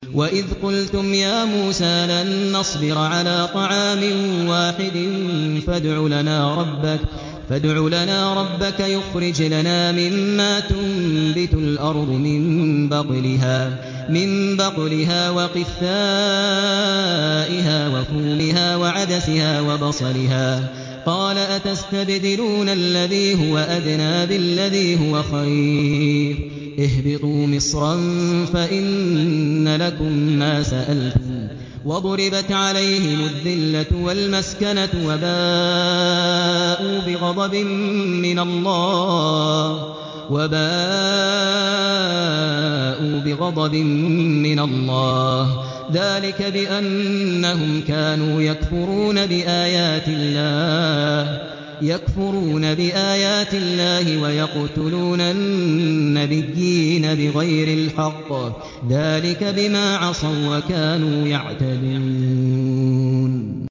وَإِذْ قُلْتُمْ يَا مُوسَىٰ لَن نَّصْبِرَ عَلَىٰ طَعَامٍ وَاحِدٍ فَادْعُ لَنَا رَبَّكَ يُخْرِجْ لَنَا مِمَّا تُنبِتُ الْأَرْضُ مِن بَقْلِهَا وَقِثَّائِهَا وَفُومِهَا وَعَدَسِهَا وَبَصَلِهَا ۖ قَالَ أَتَسْتَبْدِلُونَ الَّذِي هُوَ أَدْنَىٰ بِالَّذِي هُوَ خَيْرٌ ۚ اهْبِطُوا مِصْرًا فَإِنَّ لَكُم مَّا سَأَلْتُمْ ۗ وَضُرِبَتْ عَلَيْهِمُ الذِّلَّةُ وَالْمَسْكَنَةُ وَبَاءُوا بِغَضَبٍ مِّنَ اللَّهِ ۗ ذَٰلِكَ بِأَنَّهُمْ كَانُوا يَكْفُرُونَ بِآيَاتِ اللَّهِ وَيَقْتُلُونَ النَّبِيِّينَ بِغَيْرِ الْحَقِّ ۗ ذَٰلِكَ بِمَا عَصَوا وَّكَانُوا يَعْتَدُونَ